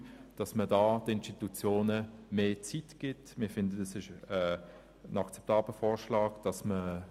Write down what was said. Es ist ein akzeptabler Vorschlag, den Institutionen mehr Zeit zu geben und eine Staffelung vorzunehmen.